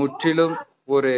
முற்றிலும் ஒரு